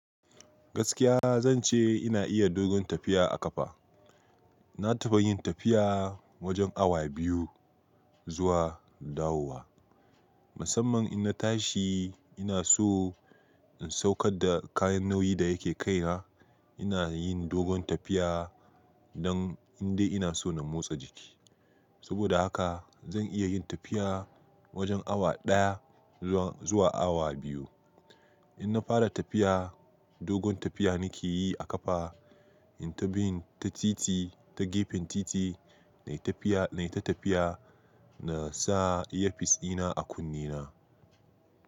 Gaskiya zan ce ina iya dogon tafiya a ƙafa. Na taɓa yin tafiya wajen awa biyu zuwa dawowa. Musamman ina tashi ina so in saukar da kayan nauyi da yake kai na, ina yin dogon tafiya don in dai ina so na motsa jiki. Saboda haka zan iya yin tafiya wajen awa ɗaya zuwa awa biyu. In na fara tafiya, dogon tafiya na ke yi a ƙafa, in ta bin ta titi ta gefen titi, nai ta tafiya na sa airfis ina a kunne na.